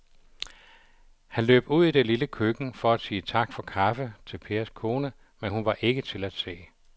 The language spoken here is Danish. Han løb ud i det lille køkken for at sige tak for kaffe til Pers kone, men hun var ikke til at se.